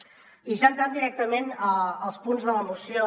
i ja entrant directament als punts de la moció